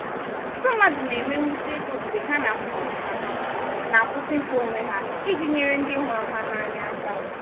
ọtụtụ mmadụ na-enwe mwute ego mgbe ha na-akwụsị mkpa ha na-akwụsị mkpa onwe ha iji nyere ndị hụrụ ha n’anya aka.